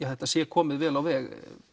þetta sé komið vel á veg